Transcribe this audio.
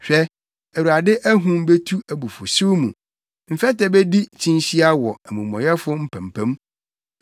Hwɛ, Awurade ahum betu abufuwhyew mu, mfɛtɛ bedi kyinhyia wɔ amumɔyɛfo mpampam.